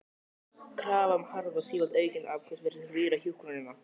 Krafan um hraða og sífellt aukin afköst virtist rýra hjúkrunina.